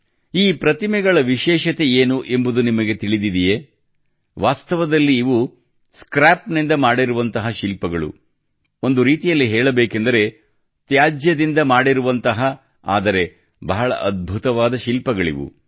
ಈ ಪ್ರತಿಮೆಗಳ ವಿಶೇಷತೆಯೇನು ಎಂಬುದು ನಿಮಗೆ ತಿಳಿದಿದೆಯೇ ವಾಸ್ತವದಲ್ಲಿ ಇವು ಸ್ಕ್ರ್ಯಾಪ್ ನಿಂದ ಮಾಡಿರುವಂತಹ ಶಿಲ್ಪಗಳು ಒಂದು ರೀತಿಯಲ್ಲಿ ಹೇಳಬೇಕೆಂದರೆ ತ್ಯಾಜ್ಯದಿಂದ ಮಾಡಿರುವಂತಹ ಆದರೆ ಬಹಳ ಅದ್ಭುತವಾದ ಶಿಲ್ಪಗಳಿವು